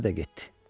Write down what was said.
Ərə də getdi.